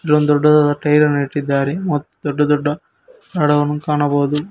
ಇಲ್ಲೊಂದ್ ದೊಡ್ಡದಾದ ಟೈರ್ ಅನ್ನು ಇಟ್ಟಿದ್ದಾರೆ ಮತ್ತ್ ದೊಡ್ಡ ದೊಡ್ಡ ಅಡವನ್ನು ಕಾಣಬಹುದು.